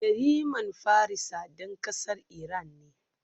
Yariman Farisa dan kasar Iran ne